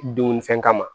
Dunnifɛn kama